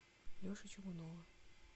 леши чугунова